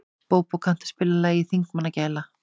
Bóbó, kanntu að spila lagið „Þingmannagæla“?